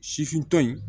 Sifintɔ in